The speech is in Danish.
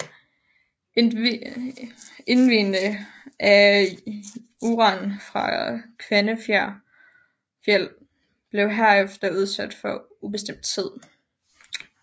Indvinding af uran fra Kvanefjeld blev herefter udsat på ubestemt tid